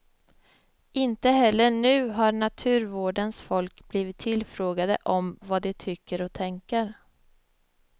Inte heller nu har naturvårdens folk blivit tillfrågade om vad de tycker och tänker.